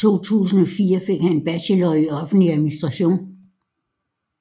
I 2004 fik han en bachelor i offentlig administration